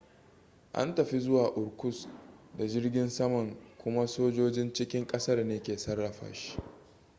an tafi zuwa irkutsk da jirgin saman kuma sojojin cikin ƙasar ne ke sarrafa shi